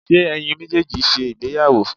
ṣe eyín mejeejí sé ìgbéyàwó?